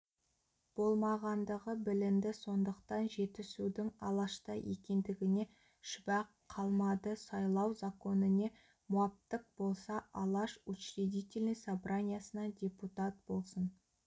болмағандығы білінді сондықтан жетісудың алашта екендігіне шүбә қалмады сайлау законіне муаптық болса алаш учредительный собраниясына депутат болсын